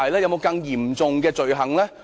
有否更嚴重的罪行呢？